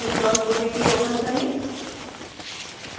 practice odt open करें